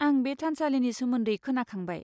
आं बे थानसालिनि सोमोन्दै खोनाखांबाय।